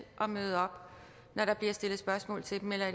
at møde op når der bliver stillet spørgsmål til dem eller